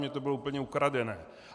Mně to bylo úplně ukradené.